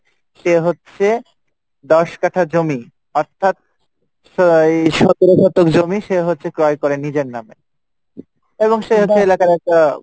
সে হচ্ছে দিশ কাঠা জমি অর্থাৎ সতেরো শতক জমি ক্রয় করে সে নিজের নামে এবং সে হচ্ছে এলাকার একটা